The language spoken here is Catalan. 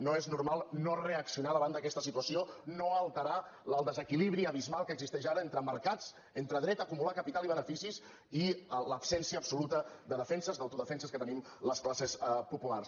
no és normal no reaccionar davant d’aquesta situació no alterar el desequilibri abismal que existeix ara entre mercats entre dret a acumular capital i beneficis i l’absència absoluta de defenses d’autodefenses que tenim les classes populars